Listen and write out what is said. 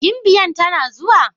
Gimbiyan tana zuwa?